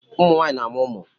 ụmụ nwanyị na-amụ ụmụ